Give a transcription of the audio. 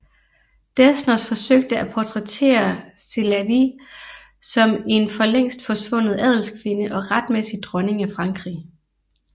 Desnos forsøgte at portrættere Sélavy som en for længst forsvundet adelskvinde og retmæssig dronning af Frankrig